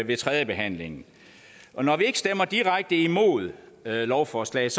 ved tredjebehandlingen og når vi ikke stemmer direkte imod lovforslaget